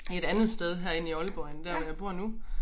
I et andet sted herinde i Aalborg end dér hvor jeg bor nu